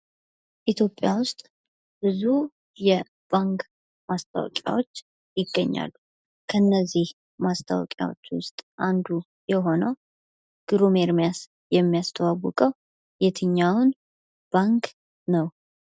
ኢትዮጵያ ውስጥ ብዙ የባንክ ማስታወቂያዎች ይገኛሉ። ከእነዚህ ማስታወቂያዎች ውስጥ አንዱ የሆነው ግሩም ኤርምያስ የሚያስተዋውቀው የትኛውን ባንክ ነው?